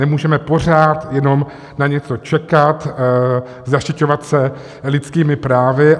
Nemůžeme pořád jenom na něco čekat, zaštiťovat se lidskými právy.